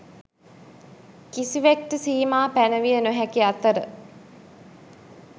කිසිවෙක්ට සීමා පැනවිය නොහැකි අතර,